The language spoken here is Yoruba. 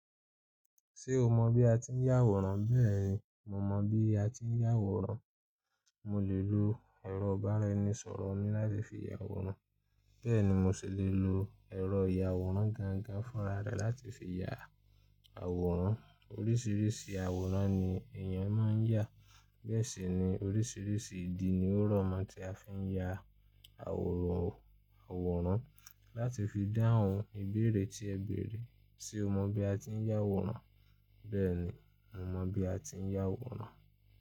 Ṣé o mọ bí a ti ń yà àwòrán? Bẹ́ẹ̀ni, mo mọ bí a ti ń yà àwòrán. Mo lè lo ẹ̀rọ ìbánisọ̀rọ̀ mi láti fi ya àwòrán. Bẹ́ẹ̀ ni, mo sì lè lo ẹ̀rọ ìyàwòrán gangan fúnra rẹ láti fi ya àwòrán. Oríṣìíríṣìí àwòrán ni èèyàn máa ń yà. Bẹ́ẹ̀ sì ni, oríṣìíríṣìí ìdí ni ó rọ̀mọ́ tí a fi ń ya àwòrán. Àwòrán láti fi dáhùn ìbéèrè tí ẹ béèrè. Ṣé o mọ bí a ti ń yà àwòrán? Bẹ́ẹ̀ni, mo mọ bí a ti ń yà àwòrán.